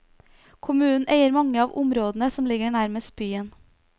Kommunen eier mange av områdene som ligger nærmest byen.